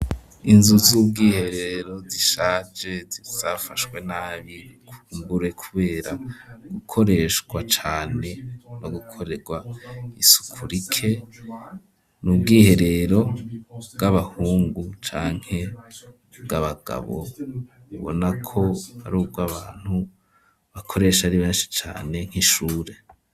Inzu z'ubwiherero zishaje zafashwe nabi kumbure kubera gukoreshwa cane no gukorerwa isuku rike n'ubwiherero bw'abahungu canke bw'abagabo ubona ko ari ubwabantu bakoresha ari beshi cane nk'ishure.